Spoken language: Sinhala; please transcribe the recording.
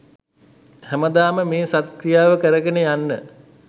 හැමදාම මේ සත් ක්‍රියාව කරගෙන යන්න